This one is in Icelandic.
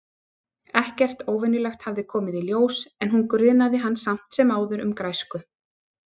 Ekkert óvenjulegt hafði komið í ljós- en hún grunaði hann samt sem áður um græsku.